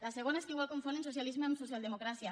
la segona és que potser confonen socialisme amb socialdemocràcia